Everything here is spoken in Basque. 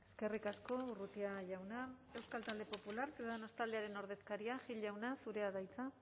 eskerrik asko urrutia jauna euskal talde popular ciudadanos taldearen ordezkaria gil jauna zurea da hitza